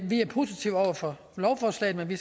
lovforslaget vil vi